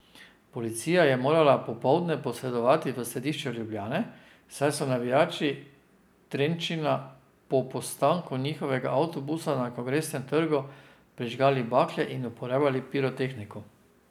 Policija je morala popoldne posredovati v središču Ljubljane, saj so navijači Trenčina po postanku njihovega avtobusa na Kongresnem trgu prižigali bakle in uporabljali pirotehniko.